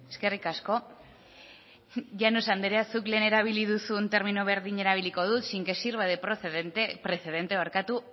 eskerrik asko llanos andrea zuk lehen erabili duzun termino berdina erabiliko dut sin que sirva de precedente